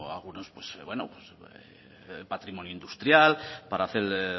patrimonio industrial para hacer